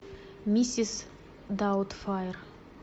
миссис даутфайр